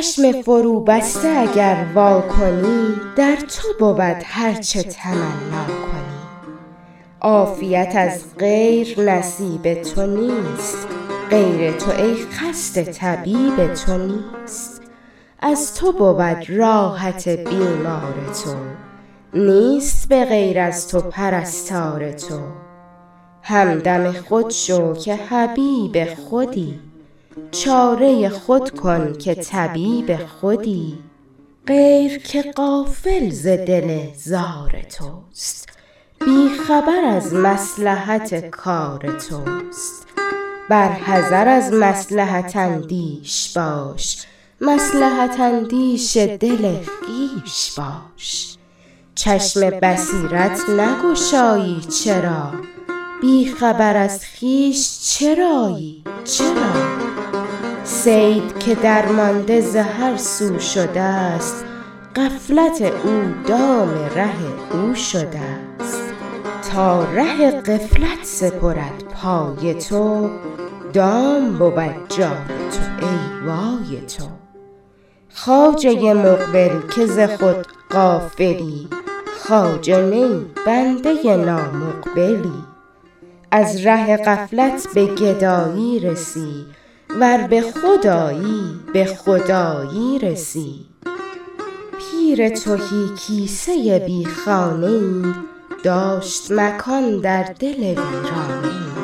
چشم فروبسته اگر وا کنی در تو بود هرچه تمنا کنی عافیت از غیر نصیب تو نیست غیر تو ای خسته طبیب تو نیست از تو بود راحت بیمار تو نیست به غیر از تو پرستار تو همدم خود شو که حبیب خودی چاره خود کن که طبیب خودی غیر که غافل ز دل زار توست بی خبر از مصلحت کار توست بر حذر از مصلحت اندیش باش مصلحت اندیش دل خویش باش چشم بصیرت نگشایی چرا بی خبر از خویش چرایی چرا صید که درمانده ز هرسو شده ست غفلت او دام ره او شده ست تا ره غفلت سپرد پای تو دام بود جای تو ای وای تو خواجه مقبل که ز خود غافلی خواجه نه ای بنده نامقبلی از ره غفلت به گدایی رسی ور به خود آیی به خدایی رسی پیر تهی کیسه بی خانه ای داشت مکان در دل ویرانه ای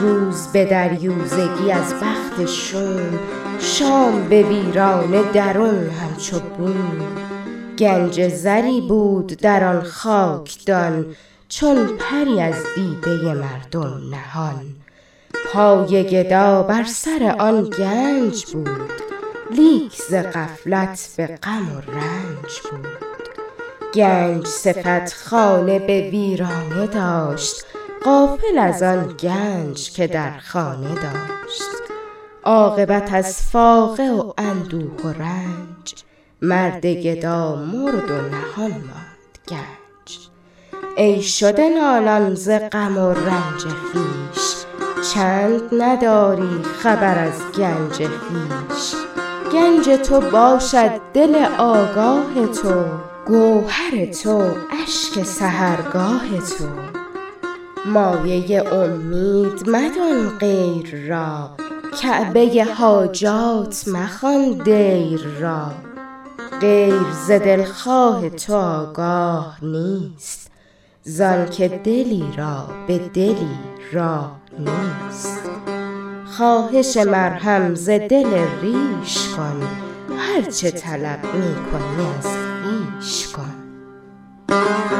روز به دریوزگی از بخت شوم شام به ویرانه درون همچو بوم گنج زری بود در آن خاکدان چون پری از دیده مردم نهان پای گدا بر سر آن گنج بود لیک ز غفلت به غم و رنج بود گنج صفت خانه به ویرانه داشت غافل از آن گنج که در خانه داشت عاقبت از فاقه و اندوه و رنج مرد گدا مرد و نهان ماند گنج ای شده نالان ز غم و رنج خویش چند نداری خبر از گنج خویش گنج تو باشد دل آگاه تو گوهر تو اشک سحرگاه تو مایه امید مدان غیر را کعبه حاجات مخوان دیر را غیر ز دلخواه تو آگاه نیست زآن که دلی را به دلی راه نیست خواهش مرهم ز دل ریش کن هرچه طلب می کنی از خویش کن